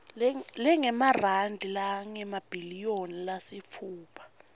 lengemarandi langemabhiliyoni lasitfupha